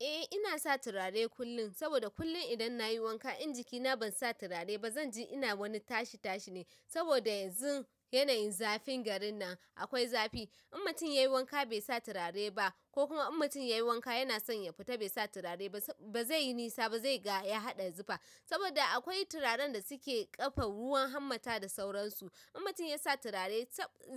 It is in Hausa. Eh ina sa turare kullum, saboda kullum idan nayi wanka, in jikina ban sa turare ba, zanje ina wani tashi tashi ne. Saboda yanzu yanayin zafin garin nan, akwai zafi. In mutum yayi wanka be sa turare ba, ko kuma in mutum yayi wanka yana son ya fita be sa turare ba, bazeyi nisa ba, zai ga ya haɗa zufa. Saboda akwai turaren da suke ƙafe ruwan hanmatta da sauransu. In mutum ya sa turare